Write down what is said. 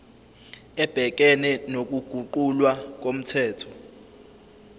ebhekene nokuguqulwa komthetho